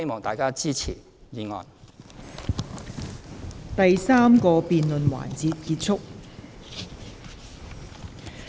第三個辯論環節結束。